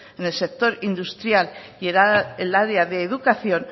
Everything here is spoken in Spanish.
en el sector industrial y el área de educación